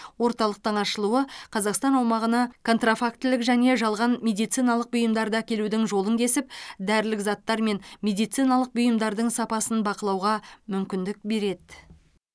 орталықтың ашылуы қазақстан аумағына контрафактілік және жалған медициналық бұйымдарды әкелудің жолын кесіп дәрілік заттар мен медициналық бұйымдардың сапасын бақылауға мүмкіндік береді